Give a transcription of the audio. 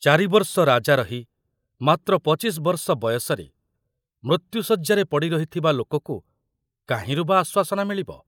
ଚାରିବର୍ଷ ରାଜା ରହି ମାତ୍ର ପଚିଶ ବର୍ଷ ବୟସରେ ମୃତ୍ୟୁ ଶଯ୍ୟାରେ ପଡ଼ି ରହିଥିବା ଲୋକକୁ କାହିଁରୁ ବା ଆଶ୍ୱାସନା ମିଳିବ?